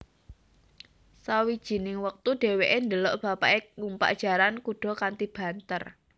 Sawijining wektu dheweke ndelok bapake numpak jaran kuda kanthi banter